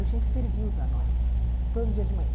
Eu tinha que servir os anões todo dia de manhã.